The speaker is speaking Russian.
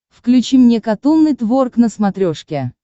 включи мне катун нетворк на смотрешке